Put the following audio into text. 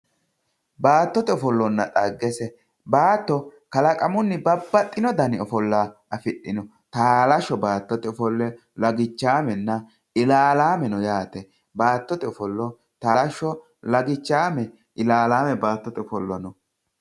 Baattote ofollonna dhaggese, kalaqamunni babbaxxino dani ofolla afidhino taalasho baattote ofolla no, lagichame ,ilalame no yaate ,taalasho ilalame baattote ofollo no.